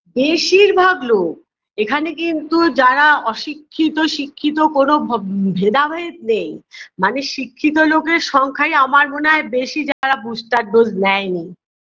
বেশিরভাগ লোক এখানে কিন্তু যারা অশিক্ষিত শিক্ষিত কোনো ভ ভেদাভেদ নেই মানে শিক্ষিত লোকের সংখ্যাই আমার মনে হয় বেশি যারা booster dose নেয়নি